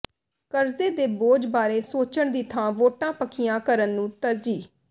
ਕਰਜ਼ੇ ਦੇ ਬੋਝ ਬਾਰੇ ਸੋਚਣ ਦੀ ਥਾਂ ਵੋਟਾਂ ਪੱਕੀਆਂ ਕਰਨ ਨੂੰ ਤਰਜੀਹ